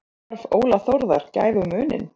Gerði brotthvarf Óla Þórðar gæfumuninn?